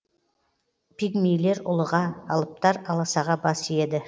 пигмейлер ұлыға алыптар аласаға бас иеді